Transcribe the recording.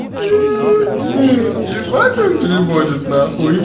ебать он переводит нахуй